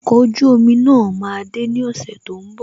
Okọ̀ ojú omi náà máa de ní ọ̀sẹ̀ tó ń bọ̀